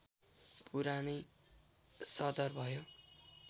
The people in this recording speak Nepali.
पुरानै सदर भयो